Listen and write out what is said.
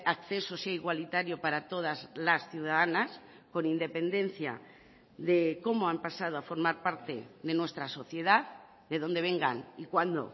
acceso sea igualitario para todas las ciudadanas con independencia de cómo han pasado a formar parte de nuestra sociedad de donde vengan y cuándo